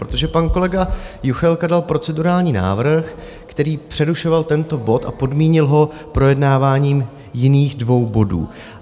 Protože pan kolega Juchelka dal procedurální návrh, který přerušoval tento bod, a podmínil ho projednáváním jiných dvou bodů.